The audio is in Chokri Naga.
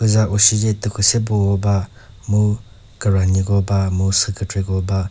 puza ushice tükhwüseboko ba mu küranyiko ba mu süh kükreko ba.